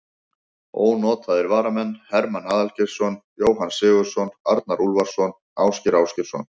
Ónotaðir varamenn: Hermann Aðalgeirsson, Jóhann Sigurðsson, Arnar Úlfarsson, Ásgeir Ásgeirsson.